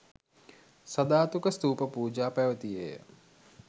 සධාතුක ස්තූප පූජා පැවැතියේ ය.